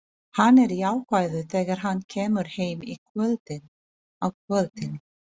Hann er jákvæður þegar hann kemur heim á kvöldin.